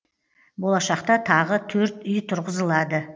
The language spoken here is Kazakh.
болашақта тағы төрт үй тұрғызылады